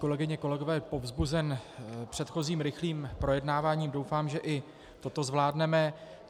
Kolegyně, kolegové, povzbuzen předchozím rychlým projednáváním doufám, že i toto zvládneme.